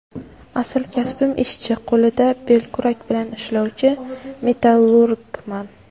Asl kasbim − ishchi, qo‘lida belkurak bilan ishlovchi metallurgman.